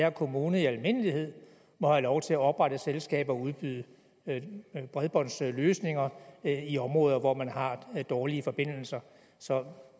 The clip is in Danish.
at kommuner i almindelighed må have lov til at oprette selskaber og udbyde bredbåndsløsninger i områder hvor man har dårlige forbindelser så